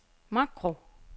makro